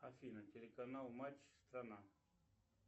афина телеканал матч страна